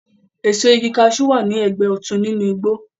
Èso igi kaṣú wà ní ẹgbẹ́ òtún nínú igbó